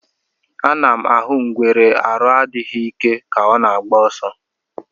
A nam ahụ ngwere arụ adịghị ike ka ọ na agba ọsọ.